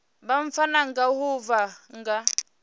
vha pfana ngaho vha nga